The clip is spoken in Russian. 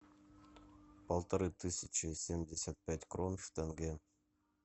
полторы тысячи семьдесят пять крон в тенге